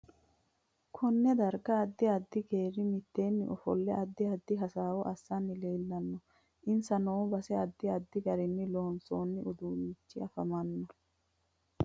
Konee darga adddi addi geeri miteeni ofolle addi addi hasaawo assani leelanno insa noo base adi addi garini loonsooni uduunichi afamanno